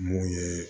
Mun ye